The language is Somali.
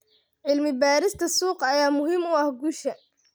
Cilmi-baarista suuqa ayaa muhiim u ah guusha.